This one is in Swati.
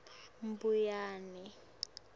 mbuyane